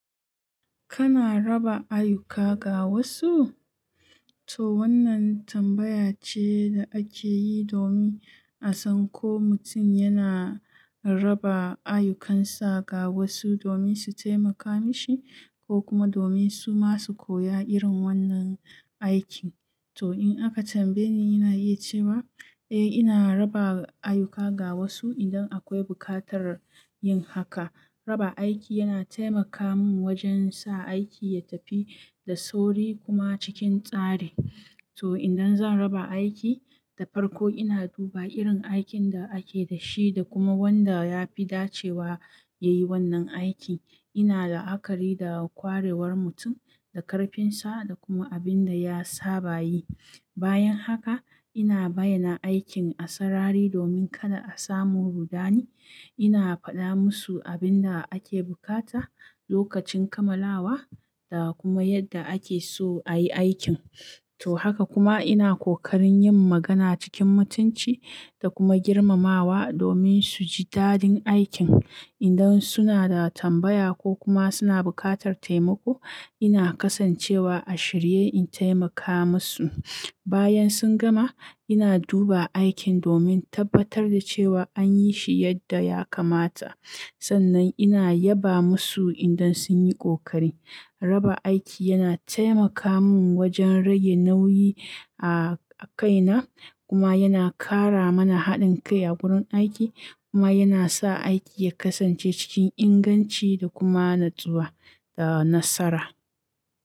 Kana raba ayuka ga wasu? To wannan tambaya ce da ake yi domin a san ko mutum yana raba ayukansa ga wasu domin su taimaka mishi ko kuma domin su masu koya irin wannan aikin. To in aka tambaye ni, ina iya cewa eh, ina raba ayuka ga wasu idan akwai buƙatar yin haka. Raba aiki yana taimaka mun wajen sa aiki ya tafi da sauri kuma cikin tsari. To idan zan raba aiki da farko ina duba irin aikin da ake da shi da kuma wanda ya fi dacewa ya yi wannan aiki. Ina la'akari da kwarewar mutum, da karfinsa da kuma abin da ya saba yi. Bayan haka ina bayyana aikin a sarari domin kada a samu rudani. Ina faɗa musu abin da ake bukata lokacin kamalawa da kuma yadda ake so a yi aikin. To haka kuma ina ƙoƙarin yin magana cikin mutunci da kuma girmamawa domin su ji dadin aikin. Idan suna da tambaya ko kuma suna buƙatar taimako, ina kasancewa a shirye in taimaka musu. Bayan sun gama, ina duba aikin domin tabbatar da cewa an yi shi yadda ya kamata. Sannan ina yaba musu idan sun yi ƙoƙari. Raba aiki yana taimaka mun wajen rage nauyi a-- a kaina kuma yana ƙara mana haɗin kai a wurin aiki kuma yana sa aiki ya kasance cikin inganci da kuma natsuwa da nasara.